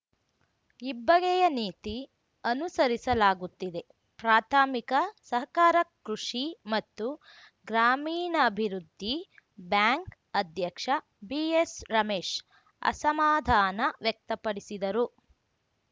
ಇಬ್ಬಗೆಯ ನೀತಿ ಅನುಸರಿಸಲಾಗುತ್ತಿದೆ ಪ್ರಾಥಮಿಕ ಸಹಕಾರ ಕೃಷಿ ಮತ್ತು ಗ್ರಾಮೀಣಾಭಿವೃದ್ಧಿ ಬ್ಯಾಂಕ್‌ ಅಧ್ಯಕ್ಷ ಬಿಎಸ್‌ರಮೇಶ್‌ ಅಸಮಾಧಾನ ವ್ಯಕ್ತಪಡಿಸಿದರು